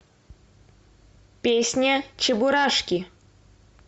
песня чебурашки